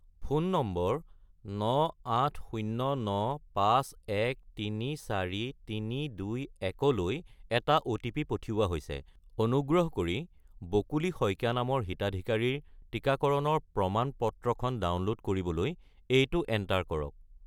Phone নম্বৰ 98095134321 -লৈ এটা অ'টিপি পঠিওৱা হৈছে। অনুগ্ৰহ কৰি বকুলি শইকীয়া নামৰ হিতাধিকাৰীৰ টিকাকৰণৰ প্ৰমাণ-পত্ৰখন ডাউনলোড কৰিবলৈ এইটো এণ্টাৰ কৰক।